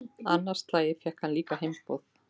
Annað slagið fékk hann líka heimboð.